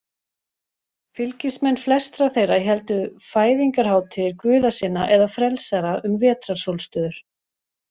Fylgismenn flestra þeirra héldu fæðingarhátíðir guða sinna eða frelsara um vetrarsólstöður.